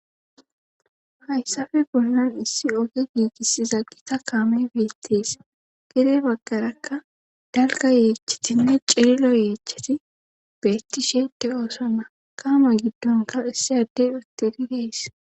hayssafe bollan issi oge giigisiza gita kaame beettees gere baggarakka dalga yeechatinne cirilo yeechati beettishee de7oosona kaamo giddonka issi addey uttidi dees.